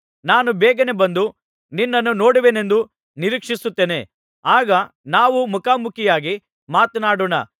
ನಾನು ಬೇಗನೆ ಬಂದು ನಿನ್ನನ್ನು ನೋಡುವೆನೆಂದು ನಿರೀಕ್ಷಿಸುತ್ತೇನೆ ಆಗ ನಾವು ಮುಖಾ ಮುಖಿಯಾಗಿ ಮಾತನಾಡೋಣ